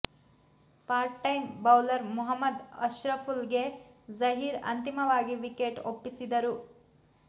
part time bowler Mohammad Ashraful ಗೆ ಜಹೀರ್ ಅಂತಿಮವಾಗಿ wicket ಒಪ್ಪಿಸಿದರು